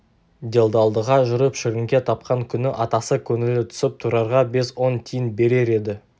делдалдыға жүріп шіріңке тапқан күні атасы көңілі түсіп тұрарға бес-он тиын берер еді